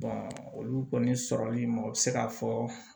olu kɔni sɔrɔli ma o bɛ se k'a fɔ